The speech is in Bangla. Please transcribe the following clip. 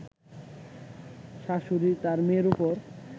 শাশুড়ী তার মেয়ের উপর